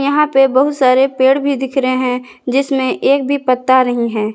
यहां पे बहुत सारे पेड़ भी दिख रहे हैं जिसमें एक भी पत्ता नहीं है।